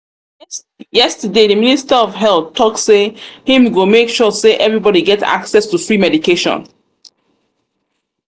yesterday the minister of health health talk say im go make sure say everybody get access to free medication